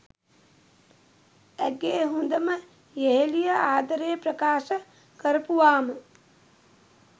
ඇගේ හොඳම යෙහෙලිය ආදරේ ප්‍රකාශ කරපුවාම?